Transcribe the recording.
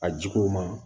A jigiw ma